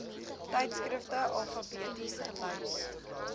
tydskrifte alfabeties gelys